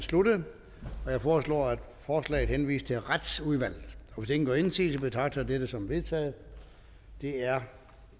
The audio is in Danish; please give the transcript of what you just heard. sluttet jeg foreslår at forslaget henvises til retsudvalget hvis ingen gør indsigelse betragter jeg dette som vedtaget det er